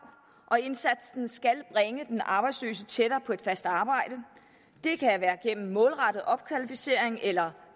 og indsatsen skal bringe den arbejdsløse tættere på et fast arbejde det kan være gennem målrettet opkvalificering eller